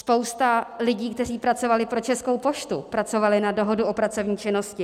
Spousta lidí, kteří pracovali pro Českou poštu, pracovala na dohodu o pracovní činnosti.